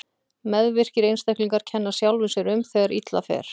Meðvirkir einstaklingar kenna sjálfum sér um þegar illa fer.